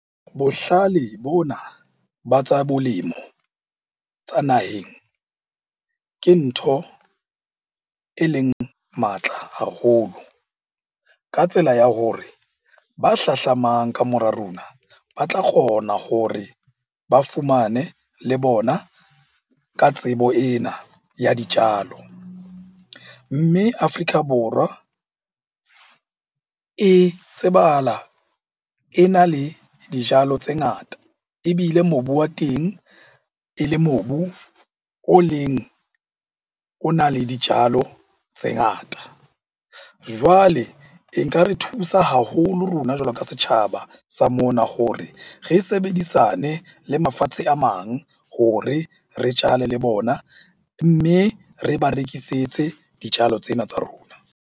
Bohlale bona ba tsa bolemo tsa naheng ke ntho e leng matla haholo. Ka tsela ya hore ba hlahlamang ka mora rona ba tla kgona hore ba fumane le bona ka tsebo ena ya ditjalo. Mme Afrika Borwa e tsebahala e na le dijalo tse ngata, ebile mobu wa teng e le mobu o leng o na le dijalo tse ngata. Jwale e nka re thusa haholo rona jwalo ka setjhaba sa mona hore re sebedisane le mafatshe a mang hore re jale le bona, mme re ba rekisetse dijalo tsena tsa rona.